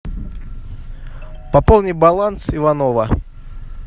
пополни баланс иванова